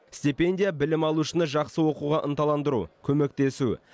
стипендия білім алушыны жақсы оқуға ынталандыру көмектесу